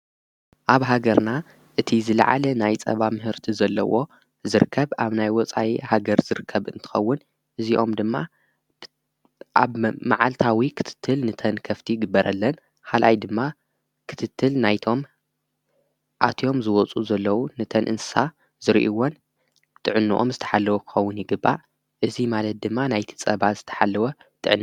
ኣብ ሃገርና እቲ ዘለዓለ ናይ ጸባ ምህርቲ ዘለዎ ዝርከብ ኣብ ናይ ወፃይ ሃገር ዝርከብ እንትኸውን እዚኦም ድማ ኣብ መዓልታዊ ኽትትል ንተንከፍቲ ግበረለን ሓልኣይ ድማ ኽትትል ናይቶም ኣትዮም ዝወፁ ዘለዉ ንተንእንሳ ዝርእይዎን ትዕንኦም ዝተሓለዎ ክከውን ይግባእ እዙይ ማለት ድማ ናይቲጸባ ዝተሓለወ ጥዕነ።